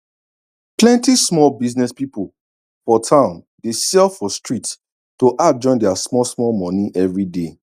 plenty small business people for town dey sell for street to add join their small small money everyday